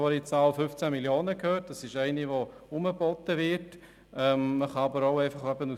Vorhin habe ich gehört, dass die Zahl von 15 Mio. Franken herumgeboten worden ist.